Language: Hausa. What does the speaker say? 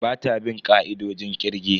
Bata bin ka'idojin kirge.